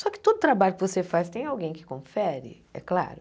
Só que todo trabalho que você faz tem alguém que confere, é claro.